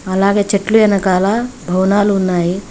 అలాగే చెట్లు ఎనకాల భవనాలు ఉన్నాయి.